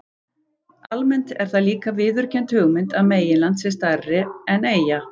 Almennt er það líka viðurkennd hugmynd að meginland sé stærra en eyja.